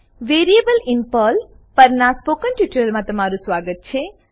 variables in Perl પરના spoken ટ્યુટોરીયલમાં તમારું સ્વાગત છે